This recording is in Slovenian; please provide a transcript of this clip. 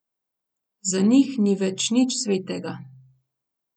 Za njih ni več nič svetega.